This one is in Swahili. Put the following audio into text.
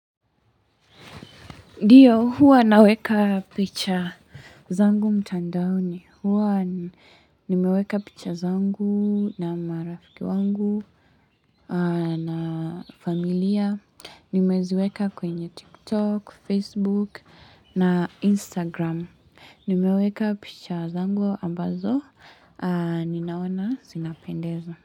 Ndiyo, huwa naweka picha zangu mtandaoni. Huwa nimeweka picha zangu na marafiki wangu na familia. Nimeziweka kwenye TikTok, Facebook na Instagram. Nimeweka picha zangu ambazo. Ninaona, zinapendeza.